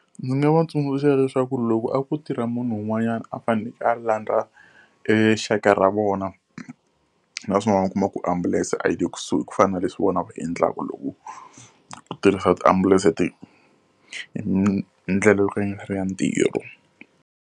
Ndzi nga va tsundzuxa leswaku loko a ku tirha munhu un'wanyana a faneleke a landza exaka ra vona, naswona u kuma ku ambulense a yi le kusuhi ku fana na leswi vona va endlaka loko ku tirhisa tiambulense hi ndlela yo ka yi nga ri ya ntirho.